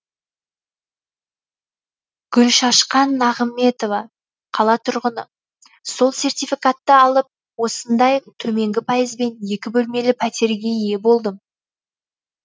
гүлшашқан нағыметова қала тұрғыны сол сертификатты алып осындай төменгі пайызбен екі бөлмелі пәтерге ие болдым